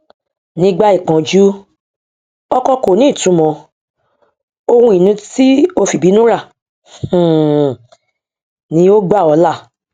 nígbà ìpọnjú ọkọ kò ní ìtumọ ohun ìní tí o fìbínú rà um ni ó gbà ọ là